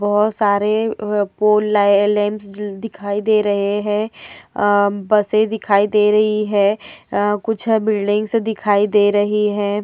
बहोत सारे पोल लै लैम्प्स दिखाई दे रहे है। आ बसे दिखाई दे रही है। आ कुछ बिल्डिंग्स दिखाई दे रही है।